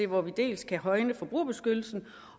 hvor vi dels kan højne forbrugerbeskyttelsen